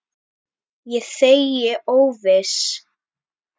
Ég þegi óviss.